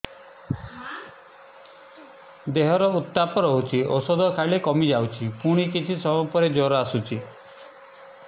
ଦେହର ଉତ୍ତାପ ରହୁଛି ଔଷଧ ଖାଇଲେ କମିଯାଉଛି ପୁଣି କିଛି ସମୟ ପରେ ଜ୍ୱର ଆସୁଛି